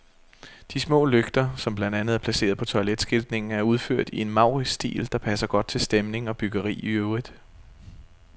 De små lygter, som blandt andet er placeret på toiletskiltningen, er udført i en maurisk stil, der passer godt til stemning og byggeri i øvrigt.